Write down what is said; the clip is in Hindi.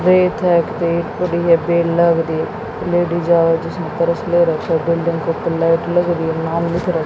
कैरेट है कैरेट पूरी है बेल लग रही लेडिस आय जिसने परस ले रखा बिल्डिंग के ऊपर लाइट लग रही है नाम लिख रहा--